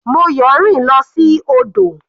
Moyo rìn lọ sí odò.